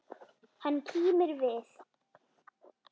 Hann kímir við.